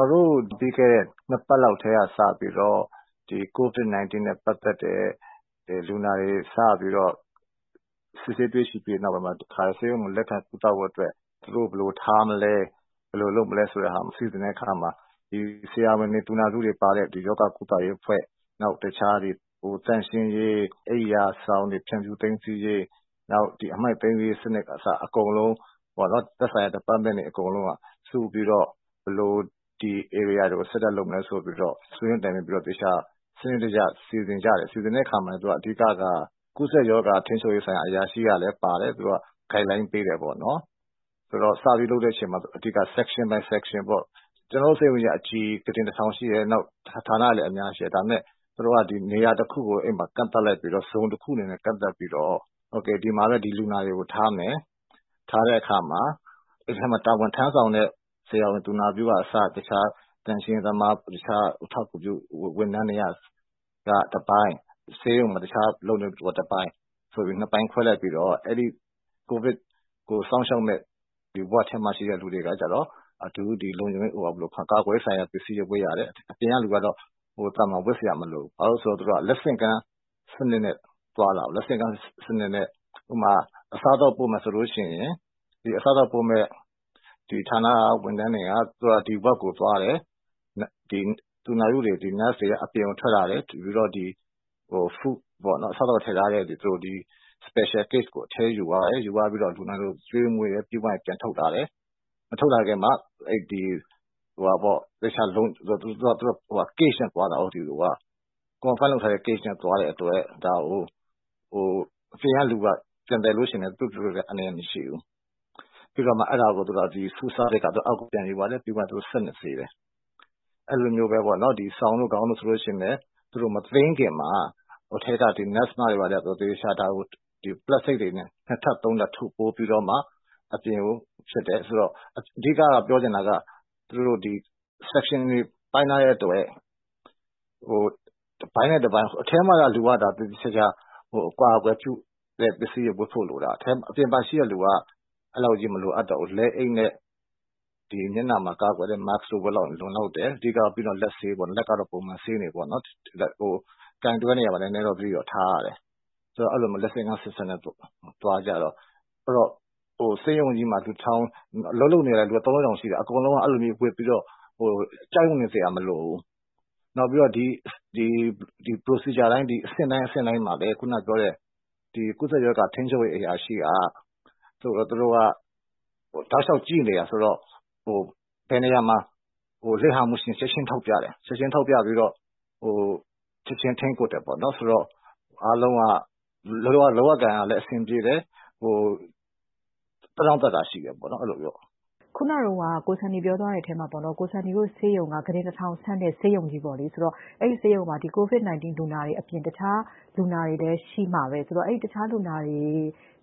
ော်တို့ ပြီးခဲ့တဲ့ ၂ ပတ်လောက်က စပြီးတော့ COVID-19 လူနာတွေ စပြီး စစ်ဆေးတွေ့ရှိခဲ့တဲ့ နောက်ပိုင်းမှာ တခါတည်း ဆေးရုံမှာ လက်ခံကုသဖို့အတွက် သူတို့ကို ဘယ်လိုထားမလဲ၊ ဘယ်လိုလုပ်မလဲဆိုတဲ့နေရာစီစဉ်တဲ့အခါမှာ ဆရာဝန်တွေ ၊ သူနာပြုတွေ ပါတဲ့ ရောဂါကုသရေးအဖွဲ့ တခြားသန့်ရှင်းရေး၊ အိပ်ရာဆောင်တွေ ဖြန့်ဖြူးသိမ်းဆည်းရေး၊ အမှိုက်သိမ်းတဲ့စနစ်က အစ အကုန်လုံး သက်ဆိုင်ရာ Department တွေအကုန်လုံးစုပြီးတော့ ဘယ်လို ဒီ ဧရိယာကို set up လုပ်မလဲဆိုပြီးတော့ ဆွေးနွေးတိုင်ပင်ပြီးတော့ သေချာ စနစ်တကျ စီစဉ်တယ်။ အဲလို စီစဉ်တဲ့အခါမှာလည်း အဓိကက ကူးစက်ရောဂါ ထိန်းချုပ်ရေး ဆိုင်ရာအရာရှိကလည်းသူက Guide line ပေးတယ်။ ဆိုတော့ စပြီးလုပ်တဲ့အချိန်မှာ အဓိက section by section ကျနော်တို့ ဆေးရုံက အကြီးကြီး ၊ ဌာနတွေလည်း အများကြီးရှိတယ်။ သူတို့က နေရာတခုကို ကန့်သတ်လိုက်ပြီးတော့ ဒီမှာတော့ ဒီလူနာတွေကို ထားမယ်။ ထားတဲ့အခါမှာ အဲဒီမှာ တာဝန်ထမ်းဆောင်တဲ့ ဆရာဝန် သူနာပြုအစ အခြား သန့်ရှင်းရေးသမား တခြားအထောက်အကူပြု ဝန်ထမ်းတွေက တပိုင်း ၊ ဆေးရုံမှာ အလုပ်လုပ်နေတဲ့သူတွေ တပိုင်း ဆိုပြီး ၂ ပိုင်းခွဲလိုက်ပြီးတော့ အဲဒီ COVID ကို စောင့်ရှောက်မယ့် အဆောင်ထဲမှာ ရှိတဲ့လူတွေက ကာကွယ်ရေးဆိုင်ရာ ပစ္စည်းတွေ ဝတ်ရတယ်။ အပြင်လူကတော့ သာမန် ဝတ်စရာမလိုဘူးပေါ့နော်။ ဘာဖြစ်လို့လဲဆိုတော့ သူက လက်ဆင့်ကမ်း စနစ်နဲ့ သွားတာကို လက်ဆင့်ကမ်းက ဥပမာ- အစားအသောက်ပို့မယ်ဆိုရင် အစားအသောက်ပို့မယ့် ဌာနက ဝန်ထမ်းတွေက ဒီ အဆောင်ကို သွားတယ်။ သူနာပြုတွေ က အပြင်ကိုထွက်လာပြီးတော့ အစားအသောက်ထည့်ထားတဲ့ special case ကို အထဲယူသွားတယ်။ ပြီးတော့ လူနာတွေကို ကျွေးမွေးတယ်။ ပြီးသွားရင် ပြန်ထုတ်လာတယ် မထုတ်လာခင်မှာ သူက အလုံပိတ်ထားတဲ့ ဘူးနဲ့ သွားတဲ့အတွက် အပြင်ကလူက ပြန်သယ်ရင်လည်း သူ့အတွက် အန္တရာယ်မရှိဘူး။ ပြီးတော့ Food Service က အောက်ကို ယူသွားတယ် ပြီးရင် စက်နဲ့ ဆေးတယ်။ အဲလိုမျိုးပဲ စောင်တွေ ခေါင်းအုံးတွေဆိုရင်လည်း သူတို့ မသိမ်းခင်မှာ အထဲက Nurse တွေက ဒါကို သေသေချာချာ ပလပ်စတစ်နဲ့ သေသေချာချာ ထုတ်ပိုးပြီးတော့မှ အပြင်ကို ထုတ်တယ်။ အဓိက ပြောချင်တာက section တွေပိုင်းထားတဲ့အတွက် တပိုင်းနဲ့ တပိုင်း ၊ အထဲမှာနေတဲ့လူကတော့ သေသေချာချာ အကာအကွယ် ပစ္စည်းတွေ ဝတ်ဖို့လိုတာ အပြင်မှာရှိတဲ့လူကတော့ လက်အိတ်နဲ့ အပြင်မှာ mask တွေ တပ်ဖို့ပဲ လိုတယ်။ အဓိကတော့ လက်ဆေးဖို့ပေါ့နော် လက်ကတော့ ပုံမှန် ဆေးနေဖို့ ။ နောက်ပြီး ကိုင်တွယ်တဲ့နေရာမှာ သတိတော့ ထားရတယ်။ အဲလိုမျိုး လက်ဆင့်ကမ်း system နဲ့ သွားတော့ ဆေးရုံမှာ အလုပ်လုပ်နေတာက ၃ထောင် ၄ ထောင်ရှိတာ အကုန်လုံးက ကြောက်နေစရာမလိုဘူး။ နောက်ပြီးတော့ အဆင့်တိုင်းအဆင့်တိုင်းမှာလည်း ခုနကပြောတဲ့ ကူးစက်ရောဂါ ထိန်းချုပ်ရေးအရာရှိက သူတို့က တောက်လျှောက်ကြည့်နေတာဆိုတော့ ဘယ်နေရာမှာ လစ်ဟာမှုရှိသလဲဆိုတာ ချက်ချင်းထောက်ပြတယ် ချက်ချင်း ထိန်းကွပ်တယ်ပေါ့နော် ဆိုတော့ အားလုံးက လုပ်ရကိုင်ရတာ အဆင်ပြေတယ်။ သက်တောင့်သက်သာရှိတယ်ပေါ့။ ကို Sunnyတို့ ဆေးရုံက ကုတင် ၁၀၀၀ ဆန့်တဲ့ ဆေးရုံကြီးပေါ့လေ အဲဒီဆေးရုံမှာ COVID-19 လူနာတွေအပြင် တခြားလူနာတွေလည်း ရှိမှာပဲ ဆိုတော့ တခြားလူနာတွေ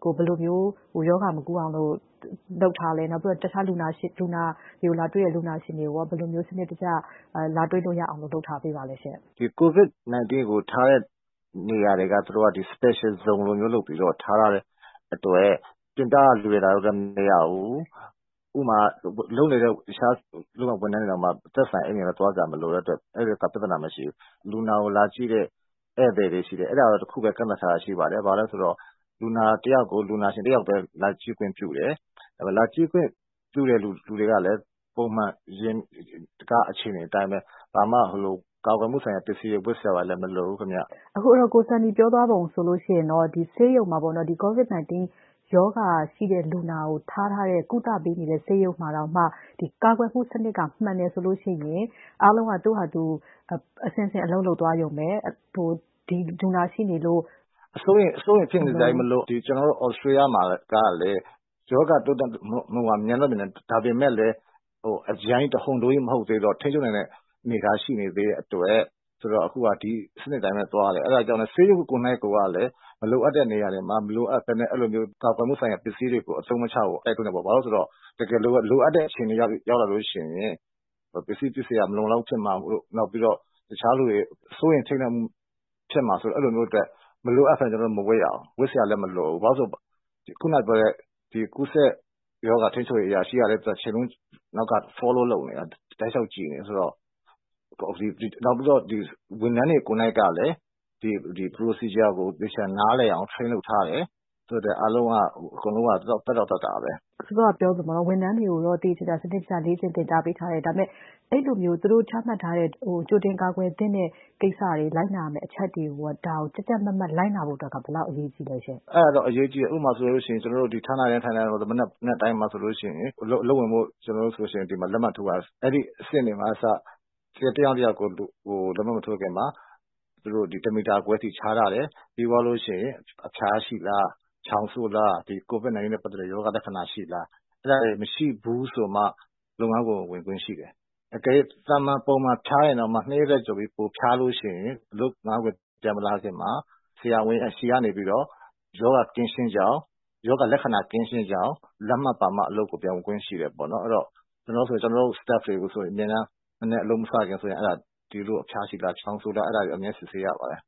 ကို ဘယ်လိုမျိုး ရောဂါမကူးအောင်လုပ်ထားသလဲ၊ လူနာတွေကို လာတွေ့တဲ့ လူတွေကို ဘယ်လိုစနစ်တကျ လာတွေ့လို့ရအောင် လုပ်ထားသလဲ COVID-19 လူနာတွေကို ထားတဲ့နေရာတွေ သူတို့ Special zone လိုမျိုး လုပ်ပြီးတော့ ထားတဲ့အတွက် တခြားလူနာတွေနဲ့ ခွဲထားတယ်။ ဥပမာ အလုပ် လုပ်နေတဲ့ ဝန်ထမ်းတွေတောင် အဲဒီနေရာကို မသက်ဆိုင်ရင် သွားစရာမလိုဘူး။ လူနာကို လာကြည့်တဲ့ ဧည့်သည်တွေရှိတယ် အဲဒါကို တခုပဲ ကန့်သတ်ထားတာရှိပါတယ်။ အဲဒါဘာလဲဆိုတော့ လူနာတယောက်ကို လူနာရှင် တယောက်ပဲ လာကြည့်ခွင့်ပြုတယ်။ လာကြည့်ခွင့်ပြုသူတွေကလည်း ဘာမှ ကာကွယ်ပစ္စည်းဝတ်စရာမလိုဘူး COVID-19 လူနာတွေကို ကုသပေးနေတဲ့ ဆေးရုံမှာတောင် ကာကွယ်မှု စနစ်မှန်တယ်ဆိုရင် အားလုံးက အဆင့်ဆင့် အလုပ်လုပ်သွားရုံပဲ။ အစိုးရိမ်ဖြစ်နေစရာမလိုပါဘူး ကျနော်တို့ Australia မှာ ရောဂါတိုးတက်နှုန်းက မြန်တယ် ဒါပေမယ့် အရမ်းကြီး တဟုန်တိုးမဟုတ်သေးတော့ ထိန်းချုပ်နိုင်တဲ့ အနေအထား ရှိနေသေးတဲ့အတွက် အခုတော့ ဒီစနစ်အတိုင်းသွားတယ် အဲဒါကြောင့် ဆေးရုံကိုယ်တိုင်က မလိုအပ်တဲ့ နေရာတွေမှာ မလိုအပ်ပဲနဲ့ ကာကွယ်မှုဆိုင်ရာကို မသုံးသင့်ဘူး ဘာဖြစ်လို့လဲဆိုတော့ တကယ်လိုအပ်တဲ့အချိန်ရောက်လာရင် ပစ္စည်းမလုံမလောက်ဖြစ်မှာတို့ ၊ တခြားလူတွေ စိုးရိမ်ထိန့်လန့်မှု ဖြစ်မှာ စိုးတဲ့အတွက် မလိုအပ်ပဲနဲ့ မဝတ်ရဘူး။ ဝတ်စရာလည်း မလိုဘူး။ ခုနပြောတဲ့ ကူးစက်ရောဂါ ထိန်းချုပ်ရေးအရာရှိကလည်း တချိန်လုံး Follow လုပ်နေတာ ။ နောက်ပြီးတော့ ဝန်ထမ်းတွေကိုယ်တိုင်ကလည်း ဒီ procedure ကို သေချာနားလည်အောင် Train လုပ်ထားရတယ်။ အဲဒါကြောင့် အကုန်လုံးက သက်တောင့်သက်သာပဲ။ စောစောက ပြောသလို ဝန်ထမ်းတွေကိုတော့ သေသေချာချာ လေ့ကျင့် သင်ကြားပေးထားတယ်။ ဒါပေမယ့် အဲလိုမျိုး သူတို့ ချမှတ်ထားတဲ့ ကြိုတင်ကာကွယ်သင့်တဲ့ ကိစ္စ လိုက်နာရမယ့်အချက်တွေကို ကြပ်ကြပ်မတ်မတ်လိုက်နာဖို့အတွက်က ဘယ်လောက် အရေးကြီးသလဲရှင့်။ အဲဒါကတော့ အရေးကြီးတယ် ၊ ဌာနတိုင်းမှာ မနက်တိုင်းဆိုရင် အလုပ်ဝင်ဖို့ လက်မှတ်ထိုးရတဲ့ အဆင့်တွေကအစ တယောက်နဲ့ တယောက် လက်မှတ် မထိုးခင်မှာ တမီတာ ခွဲစီ ခြားထားတယ်။ ပြီးရင် အဖျားရှိလား ၊ ချောင်းဆိုးလား COVID-19 နဲ့ ပတ်သက်တဲ့ ရောဂါလက္ခဏာရှိလား အဲဒါတွေ မရှိဘူးဆိုမှ လုပ်ငန်းခွင် ဝင်ခွင့်ရှိတယ်။ အကယ်၍ သာမန်ဖျားရင်တောင်မှ ၂ ရက်ထက်ပိုပြီး ဖျားရင် ဆရာဝန်ကနေ ရောဂါ ကင်းရှင်းကြောင်း လက်မှတ်ပါမှ အလုပ်ပြန်ဝင်ခွင့်ရှိတယ် အဲဒီတော့ လောလောဆည် ကျနေ်ာတို့ ဝန်ထမ်းတွေဆိုရင်လည်း အလုပ်မစခင် အဖျားရှိလား ချောင်းဆိုးလားဆိုတာကို အမြဲစစ်ဆေးရပါတယ်